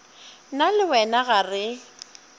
nna le wena ga re